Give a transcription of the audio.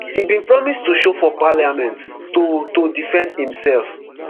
e bin promise to show for parliament to to defend imsef.